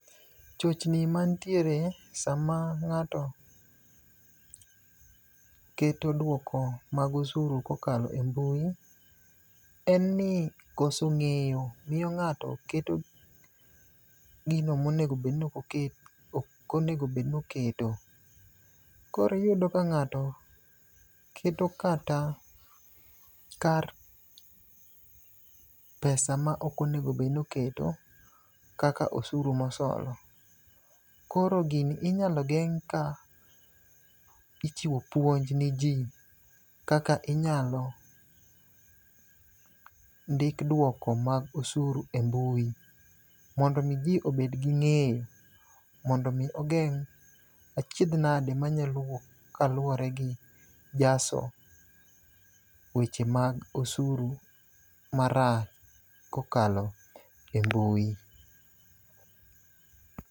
Chochni manitiere sama ng'ato keto dwoko mag osuru kokalo e mbui en ni koso ng'eyo miyo ng'ato keto gino mok onego obed noketo. Koro iyudo ka ng'ato keto kata kar pesa maok onego obed noketo kaka osuru mosolo. Koro gini inyalo geng' ka ichiwo puonj ni ji kaka inyalo ndik dwoko mag osuru e mbui, mondo omi ji obed gi ng'eyo, mondo omi ogeng' achiedh nade manyalo wuok kaluwore gi jaso weche mag osuru kokalo e mbui.